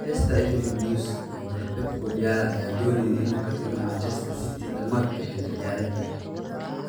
(Manchester Evening News) Tababare Pep Guardiola ayaan dooneynin inuu ka tago Manchester City dhamaadka xilli ciyaareedkan.